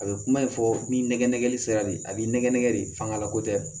A bɛ kuma in fɔ ni nɛgɛ nɛgɛli sera de ye a b'i nɛgɛ nɛgɛ de fangalako tɛ